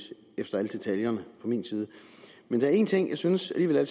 efter alle detaljerne men der er en ting jeg synes alligevel er